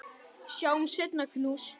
Sjáumst seinna, knús.